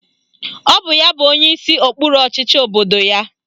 Ọ bụ ya bụ onyeisi okpuru ọchịchị obodo ya.